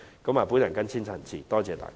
我謹此陳辭，多謝代理主席。